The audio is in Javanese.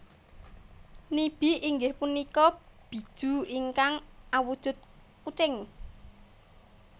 Nibi inggih punika Bijuu ingkang awujud kucing